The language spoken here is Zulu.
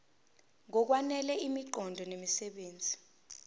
ngokwanele imiqondo nemisebenzi